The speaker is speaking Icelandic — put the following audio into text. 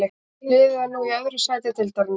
Liðið er nú í öðru sæti deildarinnar.